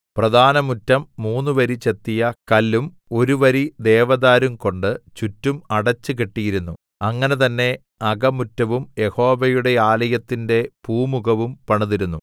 പ്രധാന മുറ്റം മൂന്നുവരി ചെത്തിയ കല്ലും ഒരു വരി ദേവദാരുവും കൊണ്ട് ചുറ്റും അടച്ചുകെട്ടിയിരുന്നു അങ്ങനെ തന്നെ അകമുറ്റവും യഹോവയുടെ ആലയത്തിന്റെ പൂമുഖവും പണിതിരുന്നു